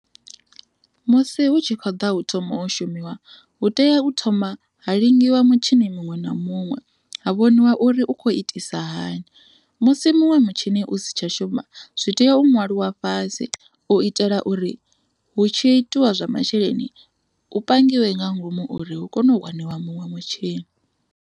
Musi hu tshi khou ḓa u thoma u shumiwa hu tea u thoma ha lingiwa mutshini muṅwe na muṅwe ha vhoniwa uri u khou itisa hani musi muṅwe mutshini u si tsha shuma zwi tea u ṅwalwa fhasi u itela uri hu tshi itiwa zwa masheleni hu pangiwe nga ngomu uri hu kone u waniwa muṅwe mutshini.